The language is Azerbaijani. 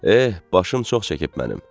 Eh, başım çox çəkib mənim.